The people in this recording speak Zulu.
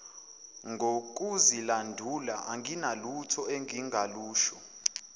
ngokuzilandula anginalutho engingalusho